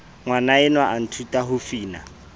ngwanaenwa a nthuta ho fina